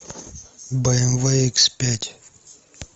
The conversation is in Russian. бмв икс пять